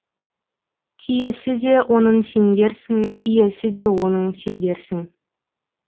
киесі де оның сендерсің иесі де оның сендерсің